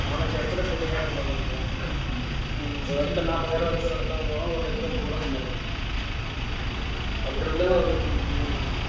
நாலு அஞ்சு இடத்துல இருப்பாங்க இவங்க எல்லாம் ஆமாம் ஒரு இடத்தை நாற்பதாயிரம் வச்சு ஒரு இடத்தை ஒரு லட்சம் ரூபாய் சம்பாரிக்கணும் அப்படி இருந்தாலும்